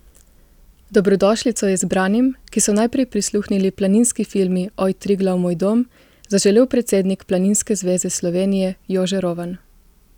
Dobrodošlico je zbranim, ki so najprej prisluhnili planinski himni Oj, Triglav, moj dom, zaželel predsednik Planinske zveze Slovenije Jože Rovan.